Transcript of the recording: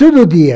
Todo dia.